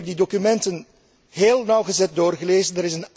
Ik heb die documenten heel nauwgezet doorgelezen.